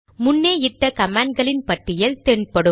முன்னே இட்ட கமாண்ட்களின் பட்டியல் தென் படும்